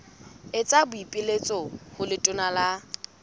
etsa boipiletso ho letona la